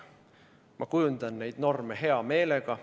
Ma kujundan neid norme hea meelega.